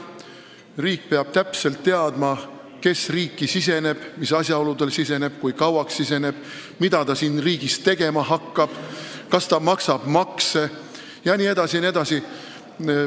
Riik peab täpselt teadma, kes siia siseneb, mis asjaoludel siseneb, kui kauaks siseneb, mida ta siin tegema hakkab, kas ta maksab makse jne.